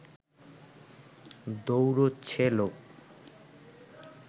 দৌড়োচ্ছে লোক